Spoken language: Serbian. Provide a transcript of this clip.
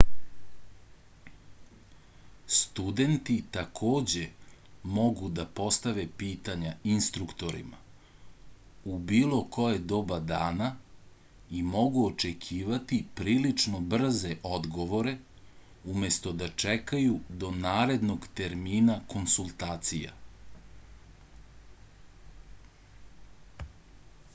studenti takođe mogu da dostave pitanja instruktorima u bilo koje doba dana i mogu očekivati prilično brze odgovore umesto da čekaju do narednog termina konsultacija